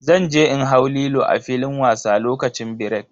Zan je in hau Lilo a filin wasa lokacin birek.